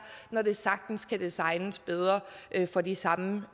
når det sagtens kan designes bedre for de samme